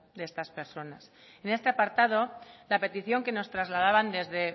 de estas personas en este apartado la petición que nos trasladaban desde